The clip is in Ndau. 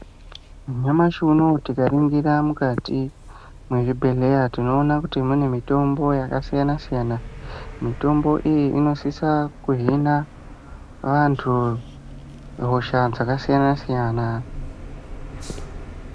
Nyamashi unoo tikaningira mukati mwezvibhehleya tinoona kuti mune mitombo yakasiyana-siyana. Mitombo iyi inosisa kuhina vantu hosha dzakasiyana-siyana.